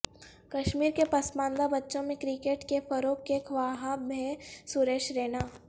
کشمیر کے پسماندہ بچوں میں کرکٹ کے فروغ کے خواہاں ہیں سریش رینا